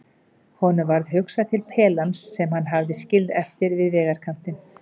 Honum varð hugsað til pelans sem hann hafði skilið eftir við vegarkantinn.